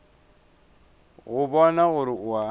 go bona gore o a